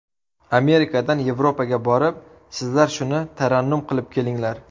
Amerikadan, Yevropaga borib, sizlar shuni tarannum qilib kelinglar.